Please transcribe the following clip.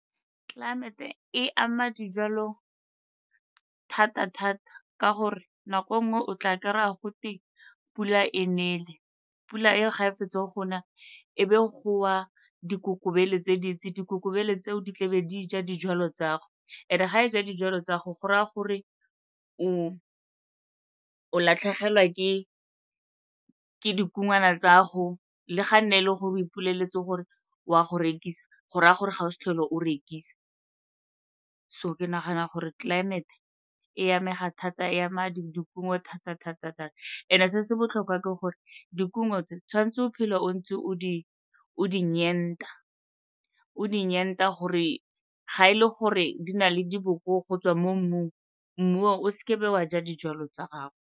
Climate-e e ama dijalo thata-thata ka gore nako e nngwe o tla kry-a go teng pula e nele. Pula eo ga e fetsa go na, e be go wa dikokobele tse dintsi. Dikolobe tseo di tlebe di ja dijalo tsa go and-e ga e ja dijalo tsa go go raya gore o latlhegelwa ke dikungwana tsa go le ga nne e le gore o ipoleletse gore o a go rekisa go raya gore ga o se tlhole o rekisa. So ke nagana gore climate-e e amega thata, e ama dikumo thata-thata-thata. And-e se se botlhokwa ke gore dikumo tse tshwanetse o phele o ntse o di , o di gore ga e le gore di na le diboko go tswa mo mmung, mmu oo o seke be wa ja dijalo tsa gago.